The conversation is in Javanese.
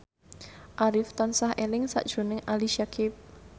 Arif tansah eling sakjroning Ali Syakieb